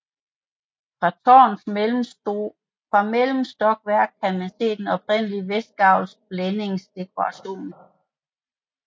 Fra tårnets mellemstokværk kan man se den oprindelige vestgavls blændingsdekoration